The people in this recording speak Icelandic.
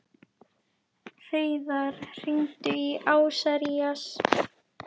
Hreiðar, hringdu í Asarías.